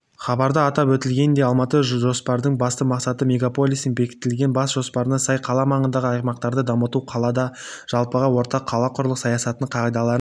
хабарда атап өтілгендей алматыбасжопардың басты мақсаты мегаполистің бекітіліген бас жоспарына сай қала маңындағы аймақтарды дамыту қалада жалпыға ортақ қалақұрылыс саясатының қағидаларын